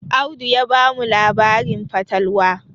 Audu ya bamu labarin fatalwa